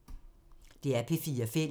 DR P4 Fælles